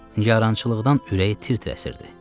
Nigarançılıqdan ürəyi tir-tir əsirdi.